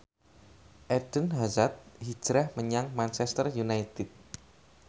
Eden Hazard hijrah menyang Manchester united